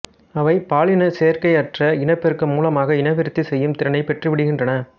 அவைபாலினச் சேர்க்கையற்ற இனப்பெருக்கம் மூலமாக இனவிருத்தி செய்யும் திறனைப் பெற்றுவிடுகின்றன